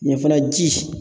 Ɲe fɛnɛ ji